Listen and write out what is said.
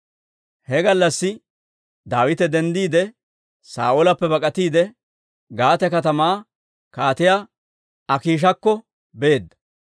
He gallassi Daawite denddiide, Saa'oolappe bak'atiide, Gaate katamaa Kaatiyaa Akiishakko beedda.